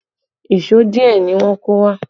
Èṣó díẹ̀ ni wọ́n kó wá